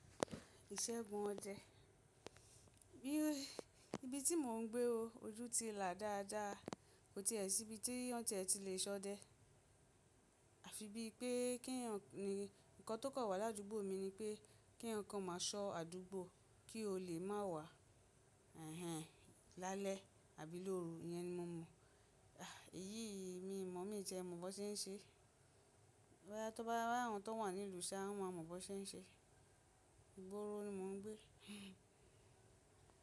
Ìṣègùn ọdẹ. Bí i ibi tí mò ń gbé ó ojú ti là dáadáa, kò ti è síbi tí won tiẹ̀ ti lè ṣọdẹ. Àfi bí pé kí ń, ǹkan tó kọ̀ wá ládúgbọ mi ni pé kí eeyan kan máa ṣọ àdúgbò kí ó lè má wà hẹ́hẹ̀ lálẹ́ àbí lóru, iyẹn ni mo mọ. Èyí mi mọ̀ mí ti eẹ, mo mọ̀ bó ṣe ń ṣe. Rárá, tó bá rí àwọn tó wà nílùú ṣa, wọ́n máa mọ̀ bi wón ṣe ń ṣe. Ìgboro ni mò ń gbé.